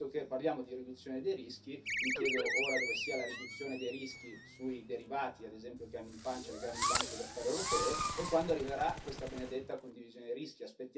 E visto che parliamo di riduzione dei rischi, mi chiedo ora dove sia la riduzione dei rischi sui derivati, ad esempio, che hanno in pancia le grandi banche d'affari europee e quando arriverà questa benedetta condivisione rischi.